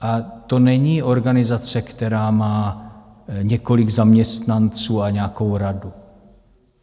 A to není organizace, která má několik zaměstnanců a nějakou radu.